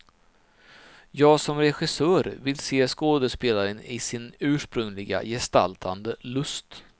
Jag som regissör ville se skådespelaren i sin ursprungliga gestaltande lust.